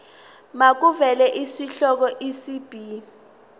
makuvele isihloko isib